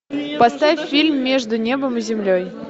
поставь фильм между небом и землей